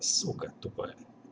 сука тупая